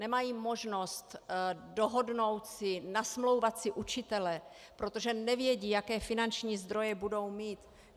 Nemají možnost dohodnout si nasmlouvat si učitele, protože nevědí, jaké finanční zdroje budou mít.